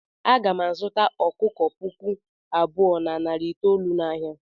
Aga m azụta ọkụkọ puku abụọ na narị itoolu n'ahịa.